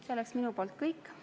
See on minu poolt kõik.